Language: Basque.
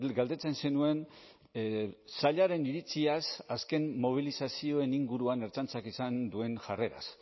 galdetzen zenuen sailaren iritziaz azken mobilizazioen inguruan ertzaintzak izan duen jarreraz